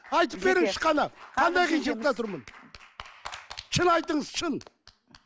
айтып беріңізші кәні қандай қиыншылықта тұрмын шын айтыңыз шын